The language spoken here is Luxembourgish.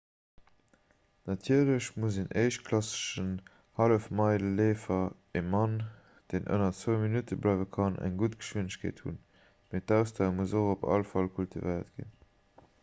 natierlech muss en éischtklassegen hallefmeile-leefer e mann deen ënner zwou minutte bléiwe kann eng gudd geschwindegkeet hunn mee d'ausdauer muss och op all fall kultivéiert ginn